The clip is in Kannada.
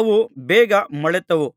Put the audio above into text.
ಅವು ಬೇಗ ಮೊಳೆತವು